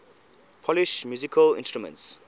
polish musical instruments